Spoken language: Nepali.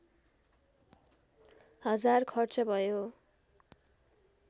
हजार खर्च भयो